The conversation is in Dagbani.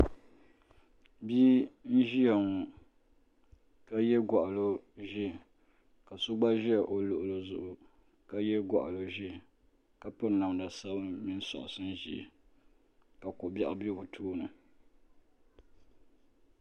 Bia n ʒia ŋɔ ka ye gɔɣali ʒee ka so gba ʒi o luɣuli zuɣu ka ye gɔɣali ʒee ka piri namda sabinli soksi ʒee ka kobiɛɣu be bɛ tooni.